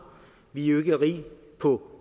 vi er jo ikke rige på